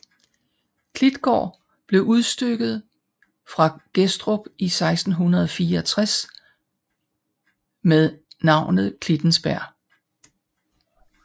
Klitgaard blev udstykket fra Gettrup i 1664 med navnet Klittensbjerg